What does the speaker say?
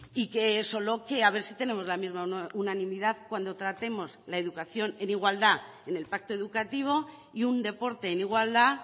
y que solo que a ver si tenemos la misma unanimidad cuando tratemos la educación en igualdad en el pacto educativo y un deporte en igualdad